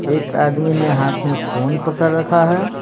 एक आदमी ने हाथ में फोन पकड़ रखा है।